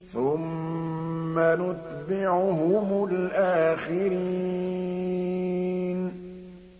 ثُمَّ نُتْبِعُهُمُ الْآخِرِينَ